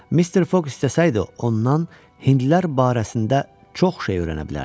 Mister Foq istəsəydi ondan hindlilər barəsində çox şey öyrənə bilərdi.